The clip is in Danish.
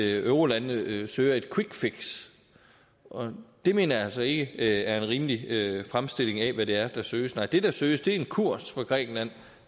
eurolandene søger et quick fix og det mener jeg altså ikke er en rimelig fremstilling af hvad det er der søges nej det der søges er en kurs for grækenland